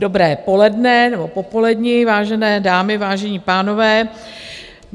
Dobré poledne, nebo popoledne, vážené dámy, vážení pánové.